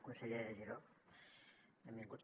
conseller giró benvingut